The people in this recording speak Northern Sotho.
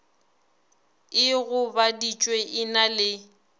e gobaditšwego e na le